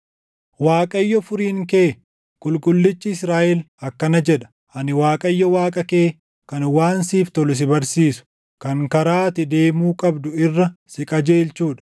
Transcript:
Waaqayyo Furiin kee, Qulqullichi Israaʼel akkana jedha: “Ani Waaqayyo Waaqa kee, kan waan siif tolu si barsiisu, kan karaa ati deemuu qabdu irra si qajeelchuu dha.